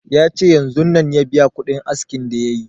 Ya ce yanzun ya biya kuɗin askin da yayi